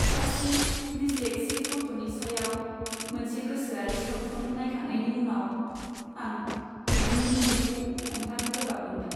सासे डिसलेक्सिक गथ'नि सायाव मोनसे गोसोआरि सावथुन नायखांनायनि उनाव आं मेगननि मोदैखौ हमथानो गोब्राब मोनदों।